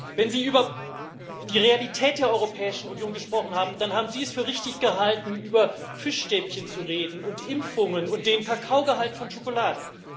Wenn Sie über die Realität der Europäischen Union gesprochen haben, dann haben Sie es für richtig gehalten, über Fischstäbchen zu reden und Impfungen und den Kakaogehalt von Schokolade.